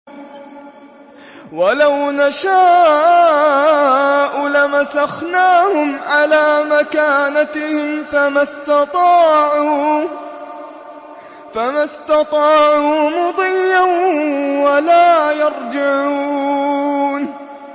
وَلَوْ نَشَاءُ لَمَسَخْنَاهُمْ عَلَىٰ مَكَانَتِهِمْ فَمَا اسْتَطَاعُوا مُضِيًّا وَلَا يَرْجِعُونَ